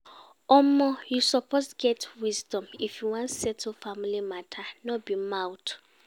Omo, you suppose get wisdom if you wan settle family mata, no be mouth.